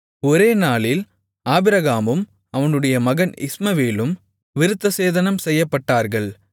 ஒரே நாளில் ஆபிரகாமும் அவனுடைய மகன் இஸ்மவேலும் விருத்தசேதனம் செய்யப்பட்டார்கள்